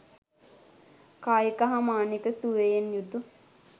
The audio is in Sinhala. කායික හා මානසික සුවයෙන් යුතු